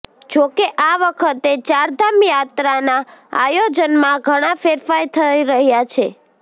જો કે આ વખતે ચારધામ યાત્રાનાં આયોજનમાં ઘણા ફેરફાર થઈ રહ્યા છે